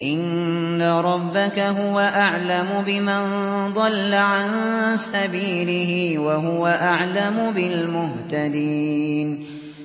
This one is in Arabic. إِنَّ رَبَّكَ هُوَ أَعْلَمُ بِمَن ضَلَّ عَن سَبِيلِهِ وَهُوَ أَعْلَمُ بِالْمُهْتَدِينَ